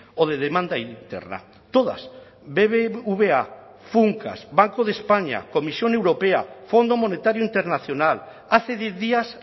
o de demanda interna todas bbva funcas banco de españa comisión europea fondo monetario internacional hace diez días